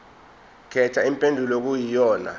khetha impendulo okuyiyona